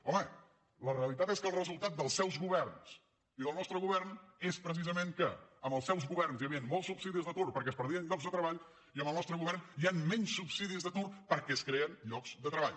home la realitat és que el resultat dels seus governs i del nostre govern és precisament que amb els seus governs hi havien molts subsidis d’atur perquè es perdien llocs de treball i amb el nostre govern hi han menys subsidis d’atur perquè es creen llocs de treball